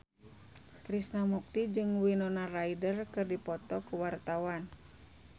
Krishna Mukti jeung Winona Ryder keur dipoto ku wartawan